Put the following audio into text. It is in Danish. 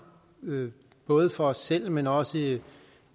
både for os selv men også i